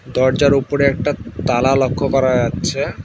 দরজার ওপরে একটা তালা লক্ষ্য করা যাচ্ছে।